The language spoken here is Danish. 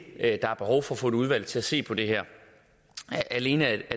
at der er behov for at få et udvalg til at se på det her alene af